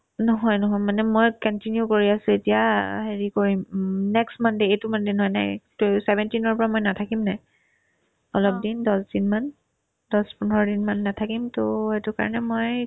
নহয় নহয় মানে মই continue কৰি আছো এতিয়া হেৰি কৰিম উম next monday এইটো monday নহয় next তো seventeen ৰ পৰা মই নাথাকিমনে অলপদিন দছদিনমান দছ-পোন্ধৰদিনমান নেথাকিম to সেইটো কাৰণে মই